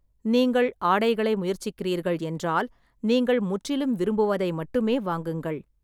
நீங்கள் ஆடைகளை முயற்சிக்கிறீர்கள் என்றால், நீங்கள் முற்றிலும் விரும்புவதை மட்டுமே வாங்குங்கள்.